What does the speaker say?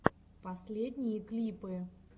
последние клипы